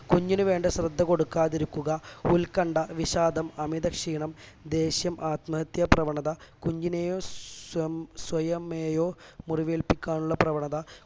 കുഞ്ഞിന് വേണ്ട ശ്രദ്ധ കൊടുക്കാതിരിക്കുക ഉൽക്കണ്ഠ വിഷാദം അമിത ക്ഷീണം ദേഷ്യം ആത്മഹത്യാ പ്രവണത കുഞ്ഞിനെയോ സ്വം സ്വയമേയോ മുറിവേൽപ്പിക്കാൻ ഉള്ള പ്രവണത